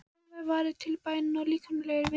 Deginum var varið til bæna og líkamlegrar vinnu.